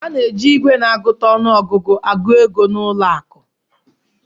A na-eji igwe na-agụta ọnụ ọgụgụ agụ ego n'ụlọ akụ